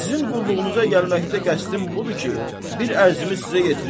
Sizin qulluğunuza gəlməkdə qəsdin budur ki, bir ərzimi sizə yetirim.